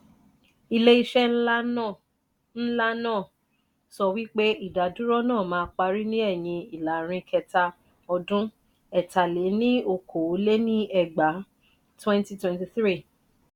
ile ise ńlá na ńlá na so wipe idà dúró na má parí ni ẹyin ilarin kẹta ọdún ẹ̀ta-lé-ní-okòó lé ní ẹgbàá ( twenty twenty three )